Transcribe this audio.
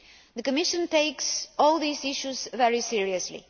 The Commission takes all these issues very seriously.